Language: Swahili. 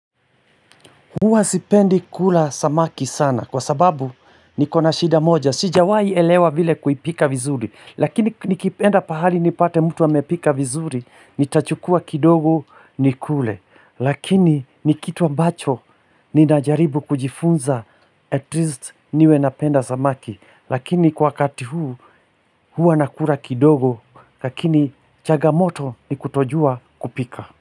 Huwa sipendi kula samaki sana kwa sababu niko na shida moja sijawai elewa vile kuipika vizuri lakini nikienda pahali nipate mtu amepika vizuri nitachukua kidogo nikule lakini ni kitu ambacho ninajaribu kujifunza at least niwe napenda samaki lakini kwa wakati huu huwa nakula kidogo lakini changamoto ni kutojua kupika.